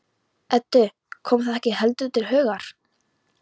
Eddu kom það ekki heldur til hugar.